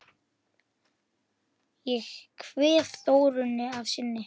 Ég kveð Þórunni að sinni.